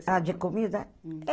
Ah, de comida?